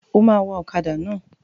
O máa wa ọkàdà náà.